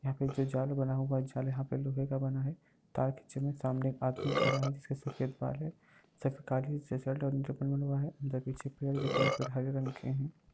यहाँ पे जो जाल बना हुआ है। जाल यहाँ पे लोहे का बना है तार के के सामने एक आदमी खड़ा है जिसके सफ़ेद बाल है पीछे पेड़ दिख रहे हैं पेड़ हरे रंग के हैं।